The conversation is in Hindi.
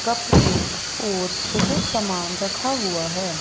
कप केक और बहुत सामान रखा हुआ है।